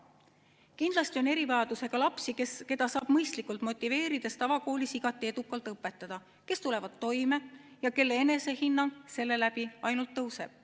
Kindlasti on erivajadusega lapsi, keda saab mõistlikult motiveerides tavakoolis igati edukalt õpetada, kes tulevad toime ja kelle enesehinnang seeläbi ainult tõuseb.